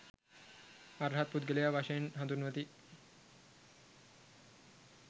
අර්හත් පුද්ගලයා වශයෙන් හඳුන්වති.